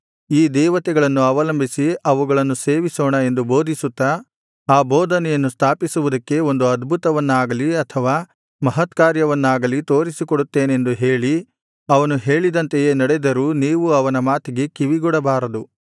ಈ ದೇವತೆಗಳನ್ನು ಅವಲಂಬಿಸಿ ಅವುಗಳನ್ನು ಸೇವಿಸೋಣ ಎಂದು ಬೋಧಿಸುತ್ತಾ ಆ ಬೋಧನೆಯನ್ನು ಸ್ಥಾಪಿಸುವುದಕ್ಕೆ ಒಂದು ಅದ್ಭುತವನ್ನಾಗಲಿ ಅಥವಾ ಮಹತ್ಕಾರ್ಯವನ್ನಾಗಲಿ ತೋರಿಸಿಕೊಡುತ್ತೇನೆಂದು ಹೇಳಿ ಅವನು ಹೇಳಿದಂತೆಯೇ ನಡೆದರೂ ನೀವು ಅವನ ಮಾತಿಗೆ ಕಿವಿಗೊಡಬಾರದು